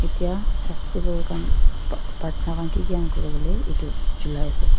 etiya festival khan pratna ki ki kura ase itu jalao ase.